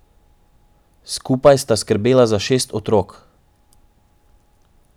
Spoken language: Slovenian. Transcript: Skupaj sta skrbela za šest otrok.